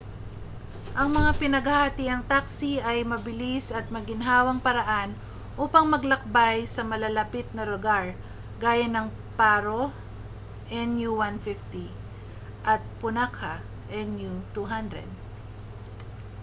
ang mga pinaghahatiang taksi ay mabilis at maginhawang paraan upang maglakbay sa malalapit na lugar gaya ng paro nu 150 at punakha nu 200